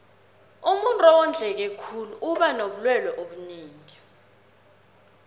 umuntuu owondleke khulu uba nobulelwe obunengi